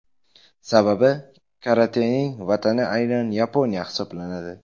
Sababi, karatening vatani aynan Yaponiya hisoblanadi.